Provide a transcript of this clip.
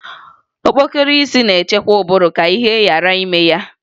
Okpokoro isi na-echekwa ụbụrụ ka ihe ghara ime ya